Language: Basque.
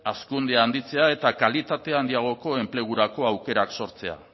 hazkundea handitzea eta kalitate handiagoko enplegurako aukerak sortzea